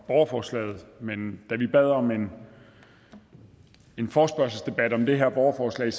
borgerforslaget men da vi bad om en forespørgselsdebat om det her borgerforslag